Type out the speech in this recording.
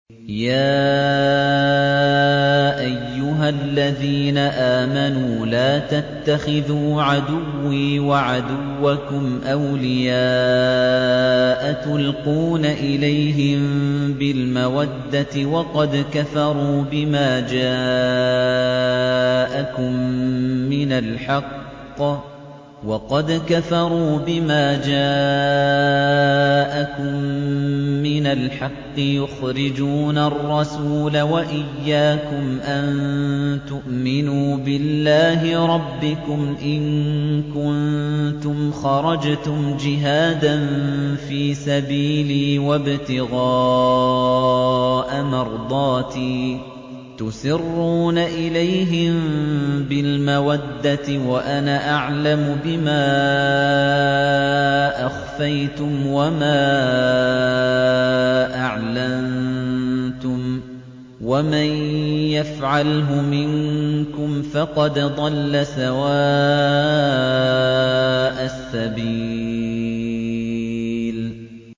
يَا أَيُّهَا الَّذِينَ آمَنُوا لَا تَتَّخِذُوا عَدُوِّي وَعَدُوَّكُمْ أَوْلِيَاءَ تُلْقُونَ إِلَيْهِم بِالْمَوَدَّةِ وَقَدْ كَفَرُوا بِمَا جَاءَكُم مِّنَ الْحَقِّ يُخْرِجُونَ الرَّسُولَ وَإِيَّاكُمْ ۙ أَن تُؤْمِنُوا بِاللَّهِ رَبِّكُمْ إِن كُنتُمْ خَرَجْتُمْ جِهَادًا فِي سَبِيلِي وَابْتِغَاءَ مَرْضَاتِي ۚ تُسِرُّونَ إِلَيْهِم بِالْمَوَدَّةِ وَأَنَا أَعْلَمُ بِمَا أَخْفَيْتُمْ وَمَا أَعْلَنتُمْ ۚ وَمَن يَفْعَلْهُ مِنكُمْ فَقَدْ ضَلَّ سَوَاءَ السَّبِيلِ